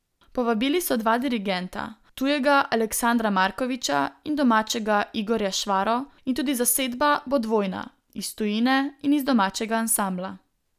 Povabili so dva dirigenta, tujega Aleksandra Markoviča in domačega Igorja Švaro, in tudi zasedba bo dvojna, iz tujine in iz domačega ansambla.